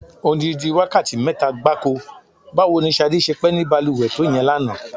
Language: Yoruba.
Odidi wákàtí mé̩ta gbáko! Báwo ni S̩adé s̩e pé̩ ní balùwè̩ to ìye̩n lánàá?